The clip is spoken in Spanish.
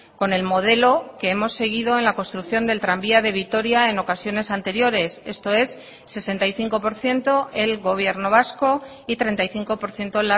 con el modelo que hemos seguido en la construcción del tranvía de vitoria en ocasiones anteriores esto es sesenta y cinco por ciento el gobierno vasco y treinta y cinco por ciento